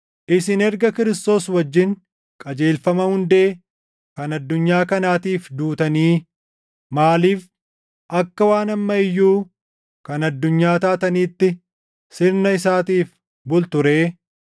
Isin erga Kiristoos wajjin qajeelfama hundee kan addunyaa kanaatiif duutanii maaliif akka waan amma iyyuu kan addunyaa taataniitti sirna isaatiif bultu ree?